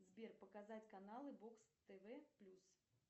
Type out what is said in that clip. сбер показать каналы бокс тв плюс